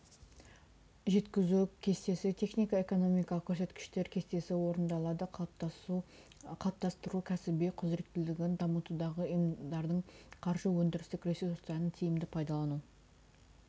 жеткізу кестесі технико экономикалық көрсеткіштер кестесі орнатылады қалыптастыру кәсіби құзыреттілігін дамытудағы ұйымдардың қаржы өндірістік ресурстарын тиімді пайдалану